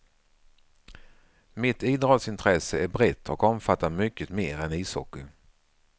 Mitt idrottsintresse är brett och omfattar mycket mer än ishockey.